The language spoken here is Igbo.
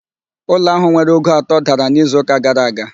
Ụlọ ahụ nwere ogo atọ dara n'izu ụka gara aga